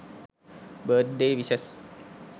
birthday wishes